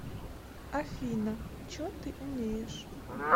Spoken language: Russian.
афина че ты умеешь